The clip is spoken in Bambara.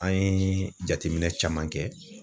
An ye jateminɛ caman kɛ